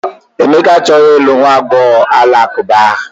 Emeka achọghị ịlụ nwa agbọghọ Alakụba ahụ.